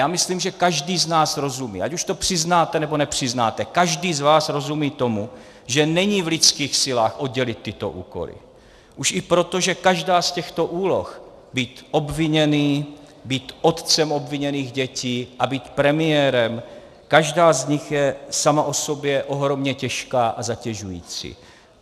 Já myslím, že každý z nás rozumí, ať už to přiznáte, nebo nepřiznáte, každý z vás rozumí tomu, že není v lidských silách oddělit tyto úkoly, už i proto, že každá z těchto úloh, být obviněný, být otcem obviněných dětí a být premiérem, každá z nich je sama o sobě ohromně těžká a zatěžující.